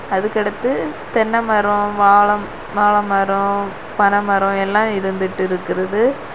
அதுக்கடுத்து தென்ன மரம் வாழ வாழை மரம் பனை மரம் எல்லா இருந்துட்டுருக்குது.